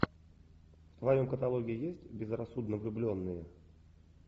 в твоем каталоге есть безрассудно влюбленные